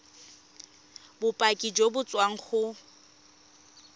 bopaki jo bo tswang go